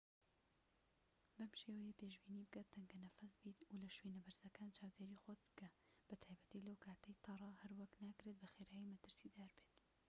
بەم شێوەیە پێشبینی بکە تەنگە نەفەس بیت و لە شوێنە بەرزەکان چاودێری خۆت بکە بە تایبەتی لەو کاتەی تەڕە هەروەک ناکرێت بەخێرایی مەترسیدار بێت